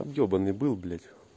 обебанный был блять